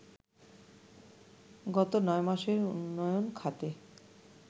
গত ৯ মাসে উন্নয়ন খাতে